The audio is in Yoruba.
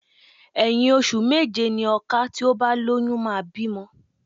Ẹ̀yin ọṣù méje ni ọka tí ó bá lóyún máa bímọ.